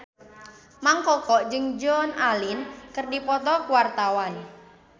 Mang Koko jeung Joan Allen keur dipoto ku wartawan